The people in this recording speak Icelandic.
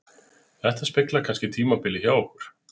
Þetta speglar kannski tímabilið hjá okkur